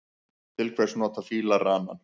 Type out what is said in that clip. Til hvers nota fílar ranann?